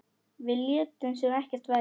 Við létum sem ekkert væri.